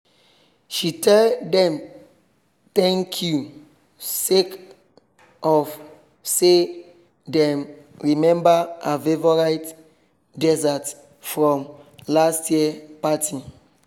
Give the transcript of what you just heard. she tell dem thank you sake of say dem remember her favourite dessert from last year party